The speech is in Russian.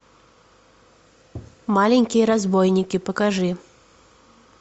маленькие разбойники покажи